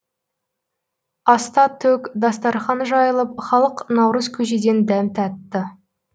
аста төк дастарқан жайылып халық наурыз көжеден дәм татты